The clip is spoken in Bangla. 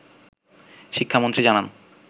শিক্ষামন্ত্রী জানান